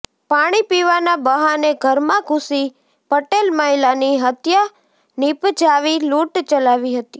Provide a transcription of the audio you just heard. પાણી પીવાના બહાને ઘરમાં ઘુસી પટેલ મહિલાની હત્યા નીપજાવી લૂંટ ચલાવી હતી